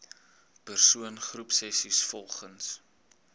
persoon groepsessies volgens